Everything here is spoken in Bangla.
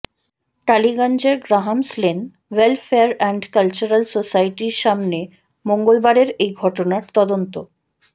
টালিগঞ্জের Grahams lane welfare and cultural সোসাইটির সামনে মঙ্গলবারের এই ঘটনার তদন্ত